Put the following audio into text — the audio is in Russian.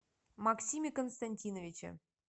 максиме константиновиче